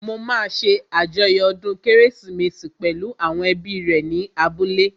Mo máa ṣé àjọyọ̀ ọdún kérésìmesì pẹ̀lú àwọn ẹbí rẹ̀ ní abúlé